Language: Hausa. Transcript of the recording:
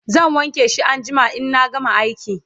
zan wanke shi anjima inna gama aiki